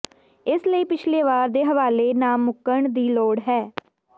ਇਸ ਲਈ ਪਿਛਲੇ ਵਾਰ ਦੇ ਹਵਾਲੇ ਨਾਮੁਮਕਣ ਦੀ ਲੋੜ ਹੈ